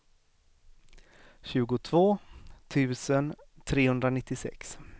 tjugotvå tusen trehundranittiosex